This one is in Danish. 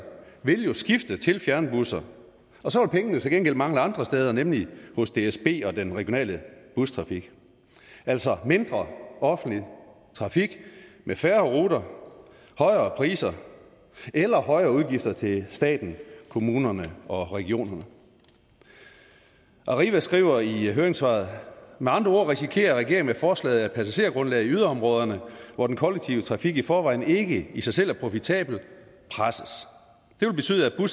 vil jo skifte til fjernbusser og så vil pengene til gengæld mangle andre steder nemlig hos dsb og den regionale bustrafik altså mindre offentlig trafik med færre ruter højere priser eller højere udgifter til staten kommunerne og regionerne arriva skriver i høringssvaret men andre ord risikerer regeringen med forslaget at passagergrundlaget i yderområderne hvor den kollektive trafik i forvejen ikke i sig selv er profitabel presses det vil betyde at